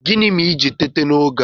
Gịnị mere i ji teta n'oge a?